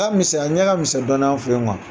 A misɛn , a ɲɛ ka misɛn dɔɔnin an fɛ yen kuwa.